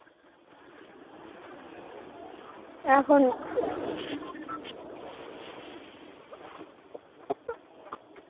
এখন